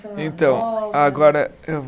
Então, agora eu